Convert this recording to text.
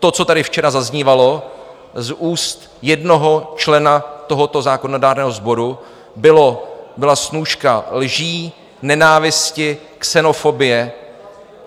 To, co tady včera zaznívalo z úst jednoho člena tohoto zákonodárného sboru, byla snůška lží, nenávisti, xenofobie.